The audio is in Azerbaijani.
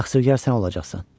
Təqsirkar sən olacaqsan.